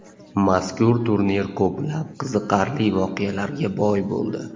Mazkur turnir ko‘plab qiziqarli voqealarga boy bo‘ldi.